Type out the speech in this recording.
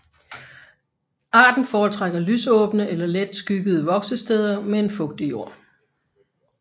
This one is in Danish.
Arten foretrækker lysåbne eller let skyggede voksesteder med en fugtig jord